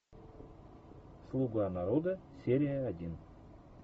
слуга народа серия один